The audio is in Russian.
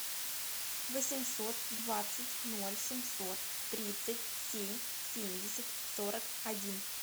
восемьсот двадцать ноль семьсот тридцать семь семьдесят сорок один